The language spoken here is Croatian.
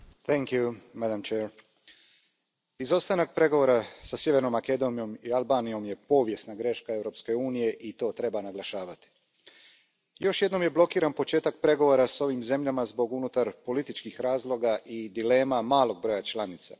Poštovana predsjedavajuća, izostanak pregovora sa Sjevernom Makedonijom i Albanijom povijesna je greška Europske unije i to treba naglašavati. Još jednom je blokiran početak pregovora s ovim zemljama zbog unutarpolitičkih razloga i dilema malog broja članica.